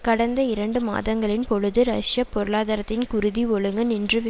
கடந்த இரண்டு மாதங்களின் பொழுது ரஷ்ய பொருளாதாரத்தின் குருதி ஒழுங்க நின்றுவ